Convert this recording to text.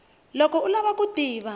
loko u lava ku tiva